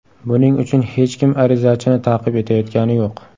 Buning uchun hech kim arizachini ta’qib etayotgani yo‘q.